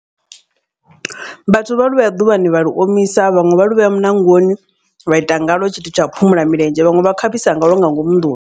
Vhathu vha lu vhea ḓuvhani vha lu omisa vhaṅwe vha luvhea muṋangoni vha ita ngalwo tshithu tshau phumula milenzhe vhaṅwe vha khavhisa ngalwo nga ngomu nḓuni.